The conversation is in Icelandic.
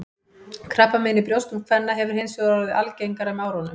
Krabbamein í brjóstum kvenna hefur hins vegar orðið algengara með árunum.